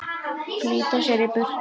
Flýta sér í burtu.